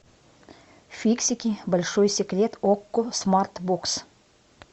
фиксики большой секрет окко смартбокс